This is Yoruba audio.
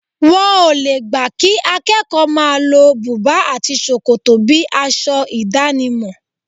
Wọn o le gbà kí akẹ́kọ̀ọ́ máa lo bùbá àti ṣòkòtò bíi aṣọ ìdánimọ̀.